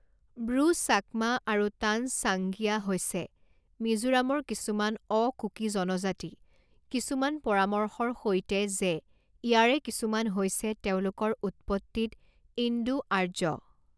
ব্ৰু চাকমা আৰু তানচাংগিয়া হৈছে মিজোৰামৰ কিছুমান অ কুকি জনজাতি কিছুমান পৰামৰ্শৰ সৈতে যে ইয়াৰে কিছুমান হৈছে তেওঁলোকৰ উৎপত্তিত ইণ্ডো আৰ্য।